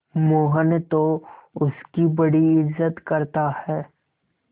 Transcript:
मोहन तो उसकी बड़ी इज्जत करता है